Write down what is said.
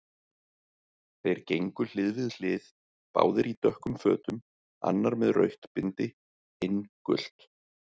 Þeir gengu hlið við hlið, báðir í dökkum fötum, annar með rautt bindi, hinn gult.